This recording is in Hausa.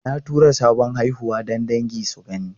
Na tura sabon haihuwa don dangi su gani.